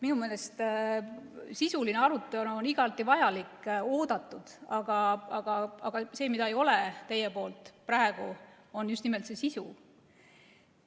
Minu meelest on sisuline arutelu igati vajalik ja oodatud, aga see, mida teil praegu ei ole, on just nimelt sisu.